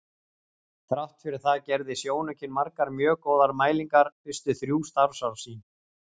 Þrátt fyrir það gerði sjónaukinn margar mjög góðar mælingar fyrstu þrjú starfsár sín.